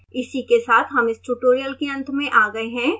इसी के साथ हम इस tutorial के अंत में आ गए हैं